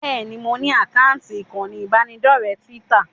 Bẹ́ẹ̀ni, mo ní àkáǹtì ìkànnì ìbánidọ́rẹ̀ẹ́ Twitter